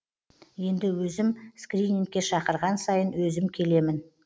енді өзім скринингке шақырған сайын өзім келемін